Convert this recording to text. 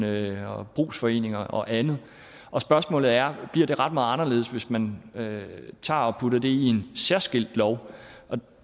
og brugsforeninger og andet spørgsmålet er om bliver ret meget anderledes hvis man tager og putter det i en særskilt lov